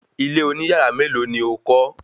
Ilé oní yàrá mélòó ni o kọ́?